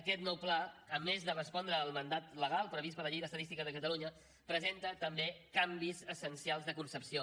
aquest nou pla a més de respondre al mandat legal previst per la llei d’estadística de catalunya presenta també canvis essencials de concepció